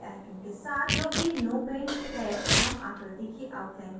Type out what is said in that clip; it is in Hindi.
पहले icon के साथ जो कि no paint है हम आकृति की outline को हटाते हैं